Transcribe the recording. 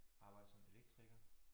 Arbejder som elektriker